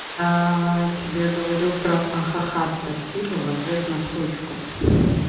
тебе говорю про а-ха-ха спасибо в ответ на сучку